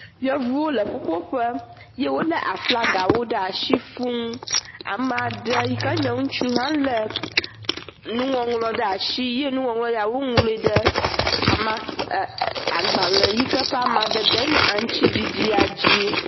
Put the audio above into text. Yevuwo le ƒuƒoƒe ye wo le aflagawo le asi fuu. Ame aɖe yi ke nye ŋutsu hã le nuŋɔŋlɔ ɖe asi ye nuŋɔŋlɔ ya wo ŋlɔ ɖe a amakpe agbale yi ke ƒe amadede nye aŋtsiɖiɖɖia dzi.